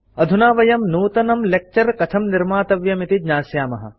अधुना वयं नूतनं लेक्चर कथं निर्मातव्यम् इति ज्ञास्यामः